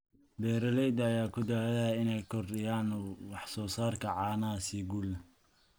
Beeralayda ayaa ku dadaalaya inay kordhiyaan wax soo saarka caanaha si guul leh.